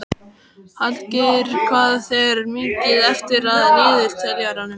Hallgeir, hvað er mikið eftir af niðurteljaranum?